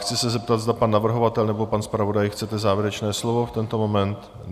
Chci se zeptat, zda pan navrhovatel nebo pan zpravodaj chce závěrečné slovo v tento moment?